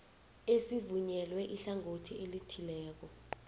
esivunyelwe ihlangothi elithileko